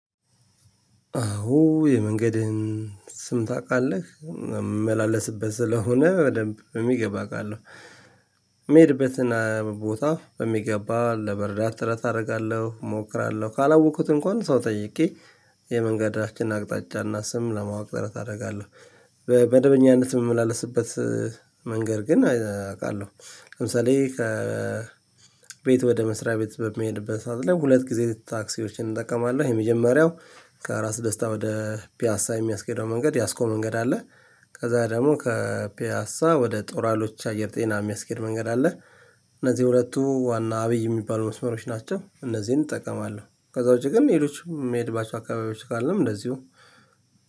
አዎ የመንገድህን ስም ታቃለህ የምመላለስበት ስለሆነ በደንብ በሚገባ አውቃለሁ። የሚሄድበትን ቦታ በሚገባ ለመረዳት ጥረት አደርጋለሁ እሞክራለሁ ካላወኩት እንኳን ሰው ጠይቄ የመንገዳችን አቅጣጫና ስም ለማወቅ ጥረት አደርጋለሁ። መደበኛነት የምመላለስበት መንገድ ግን አውቃለሁ። ለምሳሌ ከ ቤት ወደ መስሪያ ቤት በሚሄድበት ሰዓት ላይ ሁለት ጊዜ ታክሲዎችን እጠቀማለሁ። የመጀመሪያው ከራስ ደስታ ወደ ፒያሳ የሚያስኬደው መንገድ ያስኮ መንገድ አለ። ከዛ ደግሞ ከፒያሳ ወደ ጦር ሀይሎች አየር ጤና የሚያስኬድ መንገድ አለ። እነዚህ ሁለቱ ዋና አብይ የሚባሉ መስመሮች ናቸው እነዚህን እጠቀማለሁ። ከዛ ውጪ ግን ሌሎቹም የሚሄድባቸው አካባቢዎች ካሉም እንደዚሁ